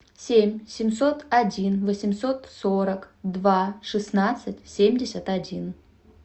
семь семьсот один восемьсот сорок два шестнадцать семьдесят один